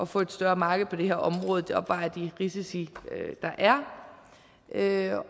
få et større marked på det her område opvejer de risici der er